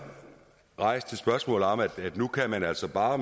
rejst et spørgsmål om at nu kan man altså bare